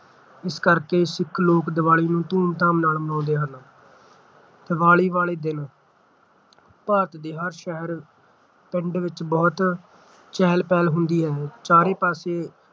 ਇਸ ਕਰਕੇ ਸਿੱਖ ਲੋਕ ਦੀਵਾਲੀ ਨੂੰ ਧੂਮਧਾਮ ਨਾਲ ਮਨਾਉਂਦੇ ਹਨ ਦੀਵਾਲੀ ਵਾਲੇ ਦਿਨ ਭਾਰਤ ਦੇ ਹਰ ਸ਼ਹਿਰ ਪਿੰਡ ਵਿੱਚ ਬਹੁਤ ਚਹਿਲ ਪਹਿਲ ਹੁੰਦੀ ਹੈ ਚਾਰੋ ਪਾਸੇ